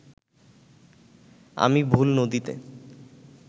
আমি ভুল নদীতে